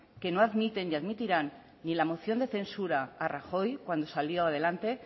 que no admiten ni admitirán ni la moción de censura a rajoy cuando salió adelante